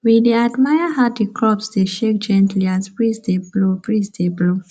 we dey admire how the crops dey shake gently as breeze dey blow breeze dey blow